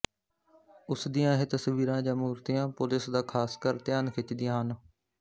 ਉਸ ਦੀਆਂ ਇਹ ਤਸਵੀਰਾਂ ਜਾਂ ਮੂਰਤੀਆਂ ਪੁਲਿਸ ਦਾ ਖਾਸ ਕਰ ਧਿਆਨ ਖਿੱਚਦੀਆਂ ਹਨ